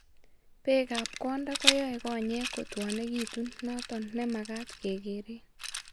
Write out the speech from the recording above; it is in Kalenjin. Beek an konda koyoe konyeek kotwonekitun noton nemagat kegereen